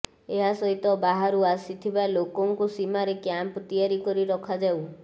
ଏହା ସହିତ ବାହାରୁ ଆସିଥିବା ଲୋକଙ୍କୁ ସୀମାରେ କ୍ୟାମ୍ପ ତିଆରି କରି ରଖାଯାଉ